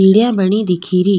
सीढिया बनी दिखे री।